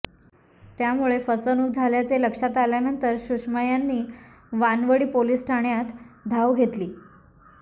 त्यामुळे फसवणूक झाल्याचे लक्षात आल्यानंतर सुषमा यांनी वानवडी पोलिस ठाण्यात धाव घेतली